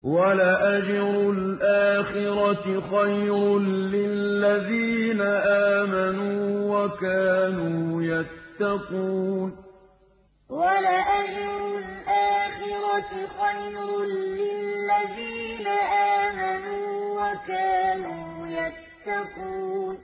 وَلَأَجْرُ الْآخِرَةِ خَيْرٌ لِّلَّذِينَ آمَنُوا وَكَانُوا يَتَّقُونَ وَلَأَجْرُ الْآخِرَةِ خَيْرٌ لِّلَّذِينَ آمَنُوا وَكَانُوا يَتَّقُونَ